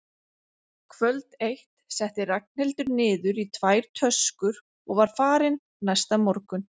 Kvöld eitt setti Ragnhildur niður í tvær töskur og var farin næsta morgun.